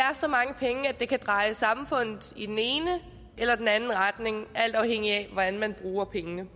er så mange penge at det kan dreje samfundet i den ene eller den anden retning alt afhængigt af hvordan man bruger pengene